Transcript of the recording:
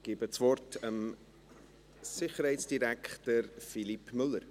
Ich übergebe das Wort dem Sicherheitsdirektor Philippe Müller.